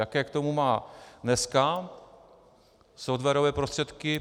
Jaké k tomu má dneska softwarové prostředky?